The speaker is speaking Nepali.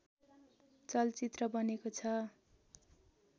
चलचित्र बनेको छ